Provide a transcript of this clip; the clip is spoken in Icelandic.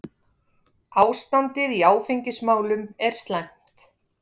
Ástandið í áfengismálum er slæmt.